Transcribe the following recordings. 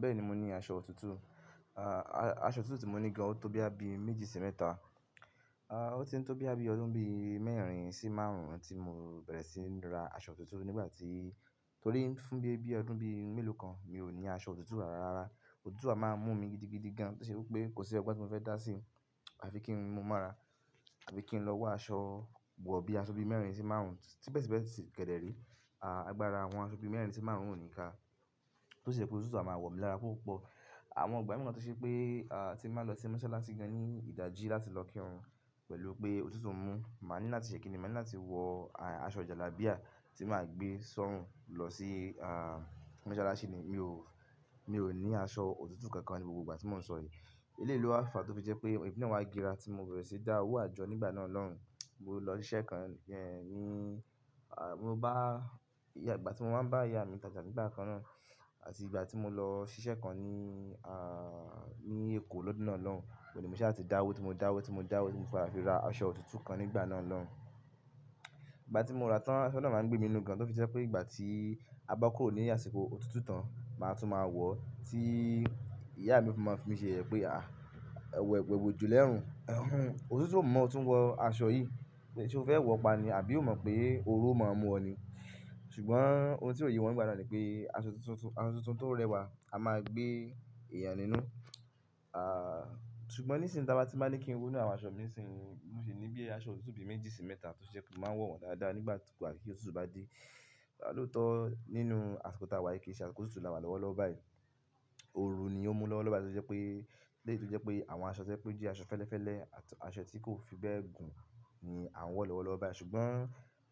Bẹ́ẹ̀ni mo ní aṣọ òtútù ah a aṣọ òtútù tí mo ní gan ọ tó bí àbí méjì sí mẹ́ta ah o o ti ń tó bí àbí ọdún bí mẹ́rin sí márùn-ún tí mo bẹ̀rẹ̀ sí ní ra aṣọ òtútù nígbà tí, torí fún bí ọdún bí mélòó kan, mi ò ní aṣọ òtútù rárá. Òtútù a máa ń mú mi gidigidi gan, tó ṣe pé kó sí ọgbon tí mo fẹ́ dá sí, àfií kín mu mọ́ra, àbí kí n lọ wa aṣọ wọ̀, bí aṣọ bí mẹ́rin sí márùn-ún, síbẹ̀ síbẹ̀ kẹdẹ re àgbára àwọn aṣọ bí mẹ́rin sí márùn-ún ò ní ká. Tó ṣe pé òtútù a máa wọ̀ mí lára púpọ̀. Àwọn ìgbà mi wa tó ṣe pé, a, tí máa lọ sí mọ́sálásí gan ní ìdají láti lọ kírun pẹ̀lú pé òtútù mú. Màá ní láti ṣe kínní, màá ní láti wọ aṣọ jàlábíà tí màá gbé sọ́run lọ sí, a, mọ́sálásí ni. Mi ò, mi ò ní aṣọ òtútù kankan ní gbogbo ìgbà tí mò ń sọ yí. Ilé yi lo wá fà tó fi jẹ́ pé ẹ̀mi náà wá dira tí mo bẹ̀rẹ̀ sí dáwó àjọ nígbà náà lọ́hun. Mo lọ ṣiṣẹ́ kan e ní, a, mo bá ìyá, nìgbà tí mo máa ń bá ìyá mi tààrà nígbà kan náà àti ìgbà tí mo lọ ṣiṣẹ́ kan ní, a, ní Èkó lọ́dún náà lọ́hun. Ò ní mo sha ti dáwó tí mo dáwó tí mo dáwó tí mo fi ra aṣọ òtútù kan nígbà náà lọ́hun. Ìgbà tí mo ra tán aṣọ náà máa ń gbé mi inú gan tó fi jẹ́ pé ìgbà tí a bá kóró ní àsìkò òtútù tán màá tún máa wọ̀ tí ìyá mi fi máa ń fi mi ṣe yẹye pé a, ẹ̀wẹ̀ wòjú lẹ́run. Òtútù ò mọ̀ ọ tún wọ aṣọ yìí ṣe o fẹ́ wọ ọ pa ni àbí o mọ̀ pé orun o máa mú ọ ni. Ṣùgbọ́n ohun tí ò yé wọn nígbà náà ni pé aṣọ tuntun tó rẹwà a máa gbé ẹ̀yàn nínú. A, ṣùgbọ́n nísin ì ta bá ti ní kín wo nínú àwọn aṣọ mí ni si yin, mo sì ní bí ẹ aṣọ òtútù bí méjì sí mẹ́ta tó ṣe pé mo máa ń wọ̀ wọ́n dáadáa nígbà kí gbá ti òtútù bá dé. Tá ló tọ́ nínú àsìkò tá wa yìí, kí ṣe aṣiko òtútù la wà lọ́wọ́ lọ́ bá yìí. Òru ni ó mú lọ́wọ́ lọ́wo bá yìí, tó ṣe pé, lé yì tó jẹ́ pé àwọn aṣọ to je pé ó jẹ́ aṣọ fẹ́lẹ́fẹ́lẹ́ àti aṣọ tí kò fi bẹ́ẹ̀ gùn ni à wọ́ lọ́wọ́ lọ́wo bá yìí ṣùgbọ́n,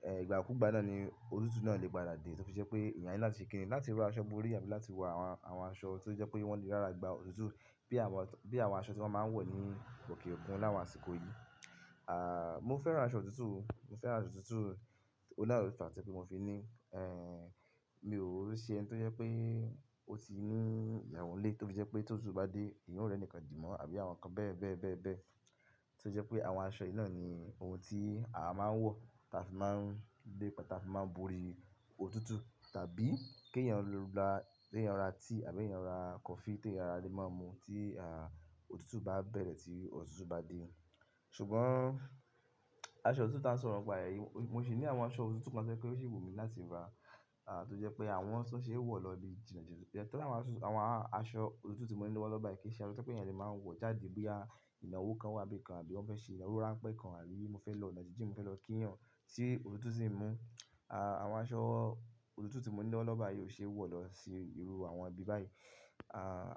ẹ, ìgbà kú gbá náà ni òtútù náà lè padà làdé tó fi jẹ́ pé ẹ̀yàn nílò láti ṣe kínní láti ra aṣọ bori àbí láti wọ àwọn, àwọn aṣọ tó jẹ́ pé wọ́n lè rárà gba òtútù bí àwọn, bí àwọn aṣọ tí wọ́n máa ń wọ̀ ní òkè òkun láwọn àsìkò yìí. A, mo fẹ́ran aṣọ òtútù, mo fẹ́ran aṣọ òtútù, ó ní àlòtá ti mo fi ní. Ẹ, mi ò ṣe ẹni tó jẹ́ pé ó ti mú ìyàwóńlé torí jẹ́ pé tó òtútù bá dé, ìyàwó rẹ̀ nìkan dì mọ́ àbí àwọn nǹkan bẹ́ẹ̀ bẹ́ẹ̀ bẹ́ẹ̀ bẹ́ẹ̀. Tó jẹ́ pé àwọn aṣọ yìí náà ni ohun tí a máa ń wọ̀, ta fi máa ń dépa, ta fi máa ń borí òtútù tàbí kí ẹ̀yàn lọ ra, kí ẹ̀yàn ra tíì àbí ẹ̀yàn ra kọfí te yán le máa mu tí, a, òtútù bá bẹ̀rẹ̀ tí òtútù bá dé. Ṣùgbọ́n aṣọ òtútù tá sọ̀rọ̀ ń pa èyí, mo sì ní àwọn aṣọ òtútù kan tẹ́ pé ó ṣi wù mí láti ra. A, tó jẹ́ pé àwọn to sọ́ṣẹ̀ wọ̀ lọ ibi jìnà jìnà tẹ́lẹ̀ àwọn aṣọ, àwọn aṣọ òtútù tí mo ní lọ́wọ́ lọ́ bá yìí kí í ṣe aṣọ tẹ́ pé ẹ̀yàn lè máa ń wọ̀ jáde bí i à ìnáwó kan wá bí kan àbí wọ́n fẹ́ ṣe ìnáwó ráńpẹ́ kan àbí mo fẹ́ lọ ono jinjin mo fẹ́ lọ kí eyàn tí òtútù sì ń mú. A, àwọn aṣọ òtútù tí mo ní lọ́wọ́ lọ́ bá yìí ò ṣe é wọ̀ lọ sí irú àwọn ibi báyìí.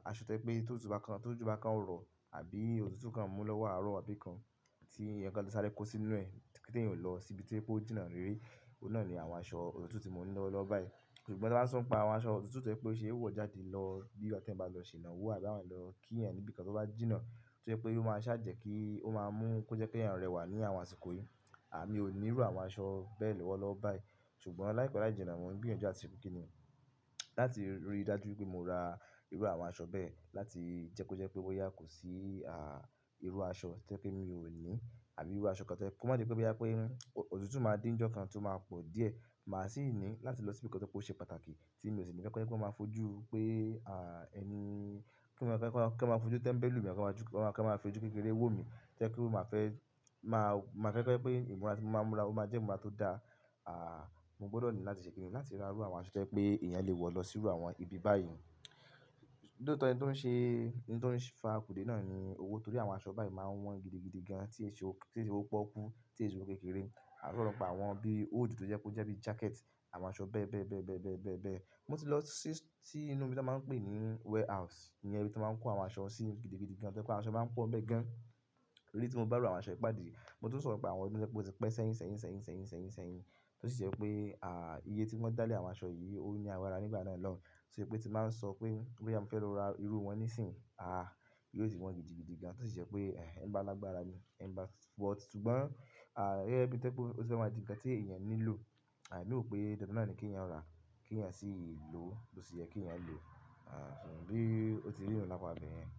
Aṣọ tẹ́ pé tó òtútù bá kan, tó òtútù bá kan ọ rọ̀ àbí òtútù kan mú lọ́wọ́ àárọ̀ wá bí kan tí ǹkan tó sáré kó sí inú rẹ̀ kí tó yín lọ sí ibi tí ẹ pé ó jìnà rere, òun náà ni àwọn aṣọ òtútù tí mo ní lọ́wọ́ lọ́ bá yìí. Ṣùgbọ́n tá sọ ń pa àwọn aṣọ òtútù tẹ́ pé ó ṣe é wọ̀ jáde lọ bí i ọ̀tẹ́lẹ̀ bá lọ ṣe ìnáwó àbí àwọn lọ kí ẹ̀yàn níbí kan tó bá jìnà tó jẹ́ pé ó máa ṣàjẹ̀ kí ó máa mú kó jẹ́ pé ẹ̀yàn rẹwà ní àwọn àsìkò yìí. A, mi ò ní irú àwọn aṣọ bẹ́ẹ̀ lọ́wọ́ lọ́ bá yìí. Ṣùgbọ́n láìpẹ́ láì jìnà mo ń gbìyànjú láti ṣe kínní láti rí dájú pé mo ra irú àwọn aṣọ bẹ́ẹ̀ láti jẹ́ kó jẹ́ pé ó yá kù sí, a, irú aṣọ tẹ́ pé mi ò ní àbí irú aṣọ kan tẹ́ kó má jẹ́ pé bí i pé, òtútù máa de ni ojọ́ kan tó máa pọ̀ díẹ̀. Màá sì ní láti lọ sí ibi kan tẹ́ kó ṣe pàtàkì tí mi ò sì ní jẹ́ kó jẹ́ pé ó máa fojú pé, a, ẹni, kí ó máa jẹ́ kó máa fi ojú tẹ́ńbẹ́lú mi, kó máa fojú kékeré wò mí tẹ́ ẹ̀ pe máa fẹ́, máa, máa fẹ́ pé ìmúra tí màá múra ó máa jẹ́ ìmúra tó dá. A, mo gbọ́dọ̀ ní láti ṣe kínní láti ra irú àwọn aṣọ tẹ́ pé ẹ̀yàn lè wọ̀ lọ sínú àwọn ibi báyìí. Ní òótọ́ ẹni tó ń ṣe, ohun tó ń fa àpòdé náà ni owó torí àwọn aṣọ báyìí máa ń wọ́n gidigidi gan tí se owo, tí se owo pọ́kú, tí se owo kékeré. A sọ̀rọ̀ ń pa àwọn bí i coti tó jẹ́ kó jẹ́ bí i jákẹ́ẹ̀tì, àwọn aṣọ bẹ́ẹ̀ bẹ́ẹ̀ bẹ́ẹ̀ bẹ́ẹ̀ bẹ́ẹ̀ bẹ́ẹ̀ bẹ́ẹ̀. Mo ti lọ sí, sí inú ibi tí wọ́n máa ń pè ní warehouse, i yen níbi tí wọ́n máa ń kó àwọn aṣọ sí gidigidi gan tẹ́ pé àwọn aṣọ máa ń pọ́n bẹ́ẹ̀ gidigan léyì tí mo bá rú àwọn aṣọ ìpáàdí, mo tún sọ̀rọ̀ ń pa àwọn ẹbí tí pé ó ti pẹ́ sẹ́yìn sẹ́yìn sẹ́yìn sẹ́yìn sẹ́yìn sẹ́yìn. Tó sì jẹ́ pé, a, iye tí wọ́n dá lé àwọn aṣọ yìí ó ní agbára nígbà náà lọ́hun. Tó jẹ́ pé tí màá ń sọ pé, pé oyá mo fẹ́ lọ ra irú wọn nísìínyi, a, yóò ti wọ́n gidigidi gan tó sì jẹ́ pé, òun àti ǹkan ti eyan nílò, a ro pe dandan náà ni ki eyan ra, ki eyan si loo, bo se ye ki eyan lo, bi o se ri na lapa ibeyin.